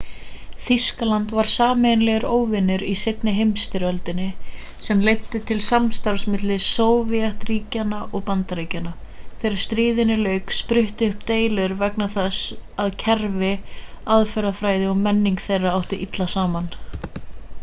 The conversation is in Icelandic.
þýskaland var sameiginlegur óvinur í seinni heimsstyrjöldinni sem leiddi til samstarfs milli sovétríkjanna og bandaríkjanna þegar stríðinu lauk spruttu upp deilur vegna þess að kerfi aðferðafræði og menning þeirra áttu illa saman